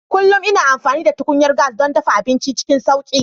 Kullum ina amfani da tukunyar gas don dafa abinci cikin sauƙi.